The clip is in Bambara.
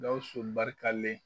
'Gawusu barika len